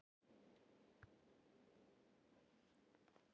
Á þriðja tug ungmenna slógust.